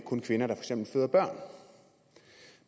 kun kvinder der føder børn